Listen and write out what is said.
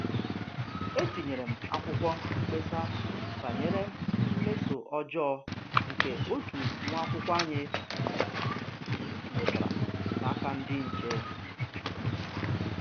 Etinyere m akwụkwọ mkpesa banyere mmeso ọjọọ nke otu nwa akwụkwọ anyị nwetara n'aka ndị nche